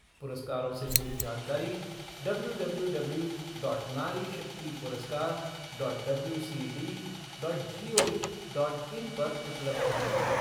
पुरस्कारों से जुड़ी जानकारी डब्ल्यू डब्ल्यू डब्ल्यू नारीशक्ति पुरस्कार W C D dot gov dot in पर उपलब्ध है।